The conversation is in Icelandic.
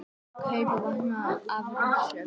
Kaupa vopn af Rússum